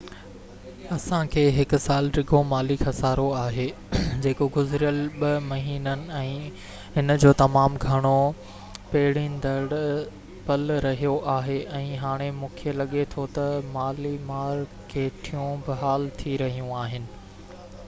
اسان کي هڪ سال ڊگهو مالي خصارو آهي جيڪو گذريل ٻہ مهينن ۾ هن جو تمام گهڻو پيڙيندڙ پل رهيو آهي ۽ هاڻي مونکي لڳي ٿو تہ مالي مارڪيٽون بحال ٿي رهيون آهن